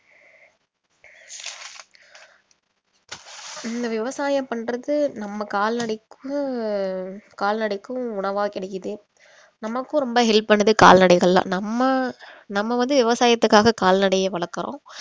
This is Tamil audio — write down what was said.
இந்த விவசாயம் பண்றதுக்கு நம்ம கால்நடைக்கும் கால்நடைக்கும் உணவா கிடைக்குது நமக்கும் ரொம்ப help பண்ணுது கால்நடைகள்லாம் நம்ம நம்ம வந்து விவசாயத்துக்காக கால்நடைய வளர்க்கிறோம்